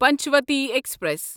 Panchvati express